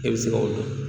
E bɛ se ka o dɔn